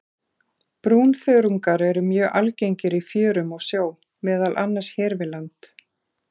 Brúnþörungar eru mjög algengir í fjörum og sjó, meðal annars hér við land.